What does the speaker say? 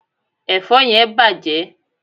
èfó yen bàjé